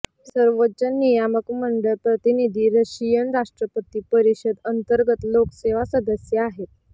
सर्वोच्च नियामक मंडळ प्रतिनिधी रशियन राष्ट्रपती परिषद अंतर्गत लोकसेवा सदस्य आहेत